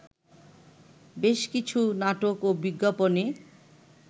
বেশকিছু নাটক ও বিজ্ঞাপনে